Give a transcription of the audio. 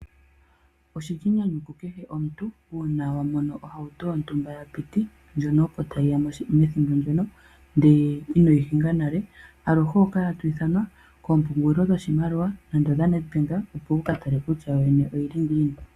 Oshili enyanyu ku kehe omuntu, uuna wa mono ohauto yo ntumba ya piti, ndjono opo ta yiyamo methimbo lyono, ndee inoyi hinga nale, aluhe oho kala to ithanwa koo mpungulilo dho shimaliwa nande odha Nedbank opo kutya yo yene oyili ngiini.